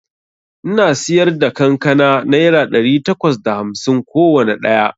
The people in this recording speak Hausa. Ina siyarda kankana naira ɗari takwas da hamsin kowanne ɗaya